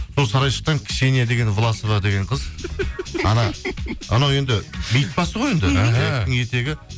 сол сарайшықтан ксения деген власова деген қыз анау енді бейіт басы ғой енді